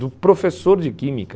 o professor de química...